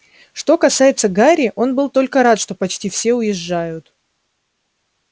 что касается гарри он был только рад что почти все уезжают